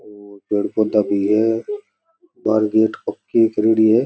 और पेड़ पौधा भी है बाहर गेट के करेड़ी है।